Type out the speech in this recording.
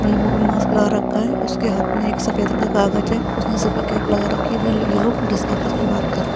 अपने मुँह पर मास्क लगा रखा है उसके हाथ में एक सफ़ेद रंग का काग़ज़ है उसने सिर पर कैप लगा रखी है। वेल ये लोग आपस में बात कर रहे हैं।